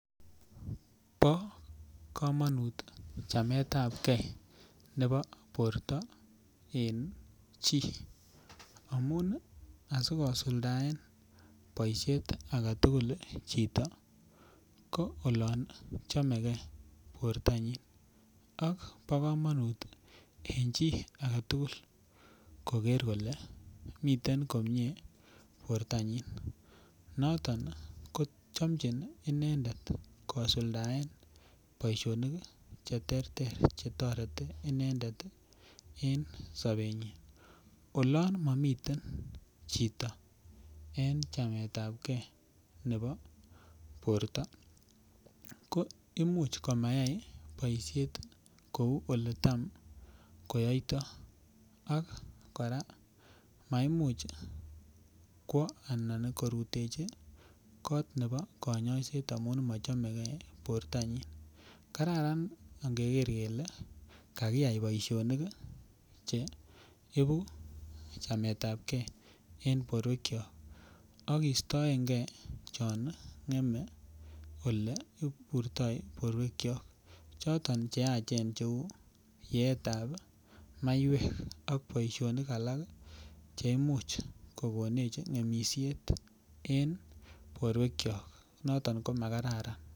Bo komonut chameetapgei nebo borto en chi amun asi kosuldaen boisiet age tugul chito ko olon chomegei bortanyin ak bo komonut en chi age tugul koger miten komie bortanyin noton kochamjin inendet kosuldaen boisinik Che terter Che toreti inendet en sobenyin olon mamiten chito en chameetapgei nebo borto ko Imuch komayai boisiet kou Ole Tam koyoito ak kora maimuch kwo korutechi kot nebo kanyoiset anan sipitali konyor kanyaiset amun machomege bortanyin kararan angeker kele kakiyai boisionik Che ibu chameetapgei en borwekyok ak kostoenge chon ngemei Ole iburto borwekyok choton Che yachen cheu yeetab maiwek ak boisionik alak Che Imuch kogenech ngemisiet en borwekyok noton ko Ma kararan